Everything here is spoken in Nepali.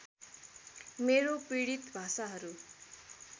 मेरो पीडित भाषाहरू